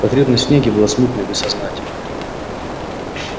потребность в снеге была смутная бессознательная